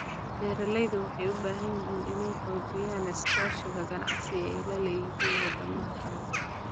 Beeralaydu waxay u baahan yihiin inay xoojiyaan iskaashiga ganacsi ee ay la leeyihiin wadamada kale.